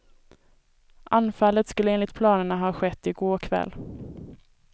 Anfallet skulle enligt planerna ha skett i går kväll.